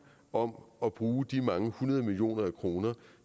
om at bruge de mange hundrede millioner af kroner